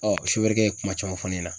Ɔn sofɛrikɛ ye kuma caman fɔ ne ɲɛna.